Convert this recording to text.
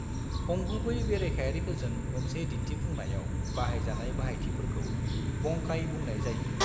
अंगुबै बेरेखायारिफोरजों मोनसे दिन्थिफुंनायाव बाहायजानाय बाहायथिफोरखौ बंकाई बुंनाय जायो।